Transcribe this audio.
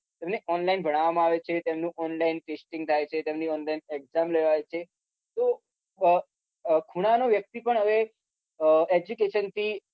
તેમને online ભણાવામાં આવે છે તેમને online testing થાય છે તેમની online exam લેવરાય છે તો ખૂણા નો વ્યક્તિ પણ હવે education થી